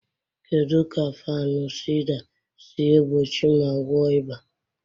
Kedu ka Fanusida si egbochi ma gwọọ ịba?